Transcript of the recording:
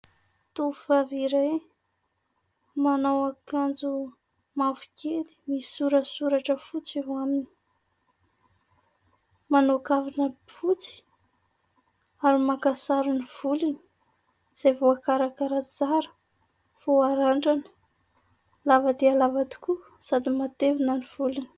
Tovovavy iray manao akanjo mavokely misy sorasoratra fotsy eo aminy. Manao kavina fotsy ary maka sary ny volony izay voakarakara tsara vao harandrana ; lava dia lava tokoa sady matevina ny volony.